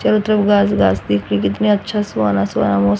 कि कितना अच्छा सुहाना सुहाना मौसम--